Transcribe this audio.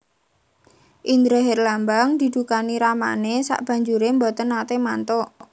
Indra Herlambang didukani ramane sabanjure mboten nate mantuk